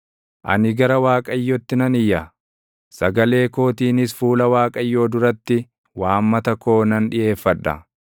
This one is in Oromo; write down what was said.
Ani gara Waaqayyotti nan iyya; sagalee kootiinis fuula Waaqayyoo duratti // waammata koo nan dhiʼeeffadha.